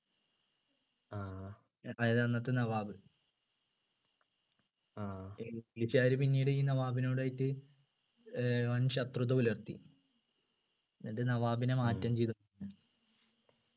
അതായത് അന്നത്തെ നവാബ് english കാര് പിന്നീട് ഈ നവാബുനോടായിട്ട് ഏർ വൻ ശത്രുത പുലർത്തി എന്നിട്ട് നവാബിനെ മാറ്റം ചെയ്തു